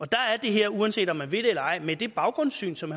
der er det her uanset om man vil det eller ej med det baggrundssyn som